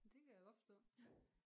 Men det kan jeg godt forstå